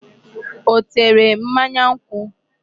Ọ tere mmanya nkwụ?